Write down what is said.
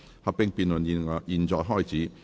合併辯論現在開始。